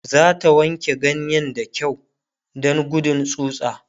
zata wanke ganyen da kyau Dan gudun tsutsa